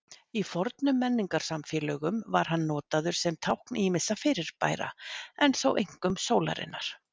Í fornum menningarsamfélögum var hann notaður sem tákn ýmissa fyrirbæra, en þó einkum sólarinnar.